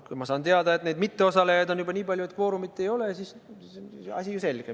Kui ma saan teada, et mitteosalejaid on juba nii palju, et kvoorumit ei ole, siis on asi ju selge.